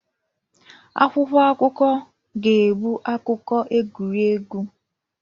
Akwụkwọ akụkọ ga-ebu akụkọ egwuregwu